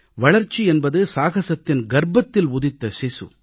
வளர்ச்சி என்பது சாகசத்தின் கர்ப்பத்தில் உதித்த சிசு